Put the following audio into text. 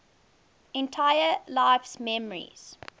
entire life's memories